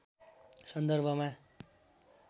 सन्दर्भमा